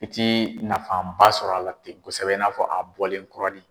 I tɛ nafafanba sɔrɔ a la ten kosɛbɛ in n'a fɔ a bɔlen kuranin .